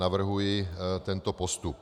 Navrhuji tento postup.